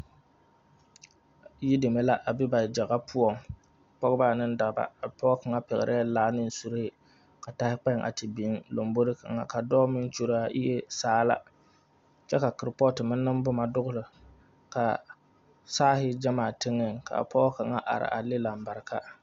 Yideme la a be ba gyaga poɔŋ pɔgeba ane dɔba a pɔge kaŋa pɛglɛɛ laa anee suree ka tae kpoŋ a te biŋ lambori kaŋa ka dɔɔ meŋ kyuli a iire saala kyɛ ka kuripootu nee booma dɔgli ka saari gyamaa teŋɛŋ ka pɔge kaŋa a are laŋ lambarika.